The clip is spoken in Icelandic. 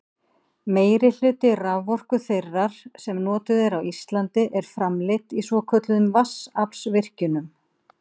meirihluti raforku þeirrar sem notuð er á íslandi er framleidd í svokölluðum vatnsaflsvirkjunum